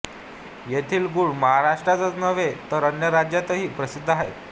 येथील गूळ महाराष्ट्रातच नव्हे तर अन्य राज्यांतही प्रसिद्ध आहे